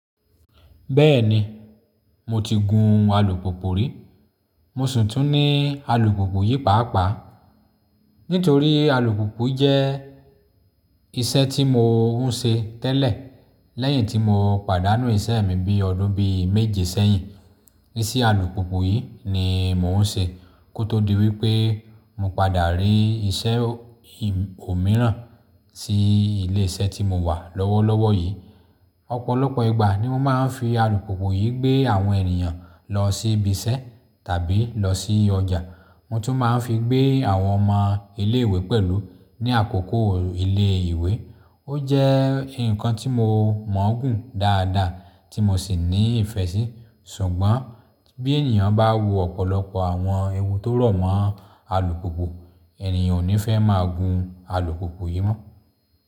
Bẹ́ẹ̀ni, mo ti gun alùpùpù rí. Mo sì tún ní alùpùpù yìí pàápàá. Nítorí alùpùpù jẹ́ iṣẹ́ tí mo ń ṣe tẹ́lẹ̀ lẹ́yìn tí mo pàdánù iṣẹ́ mi bí ọdún bí méje sẹ́yìn. Isé alùpùpù yìí ni mò ń ṣe kó tó di wípé mo padà rí iṣẹ́ òmíràn sí ilé iṣẹ́ tí mo wà lọ́wọ́lọ́wọ́ yìí. Ọ̀pọ̀lọpọ̀ ìgbà ni mo máa ń fi alùpùpù yìí gbé àwọn ènìyàn lọ sí ibi iṣẹ́ tàbí lọ sí ọjà. Mo tún máa ń fi gbé àwọn ọmọ ilé ìwé pẹ̀lú ní àkókò ilé ìwé. Ó jẹ́ nǹkan tí mo mọ̀ ọ́n gùn dáadáa tí mo sì ní ìfẹ́ sí. Ṣùgbọ́n bí ènìyàn bá wo ọ̀pọ̀lọpọ̀ àwọn ewu tó rọ̀ mọ́ alùpùpù, ènìyàn ò ní fẹ́ máa gun alùpùpù yìí mọ́.